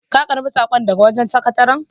Ka karɓi saƙon daga wajen sakataran?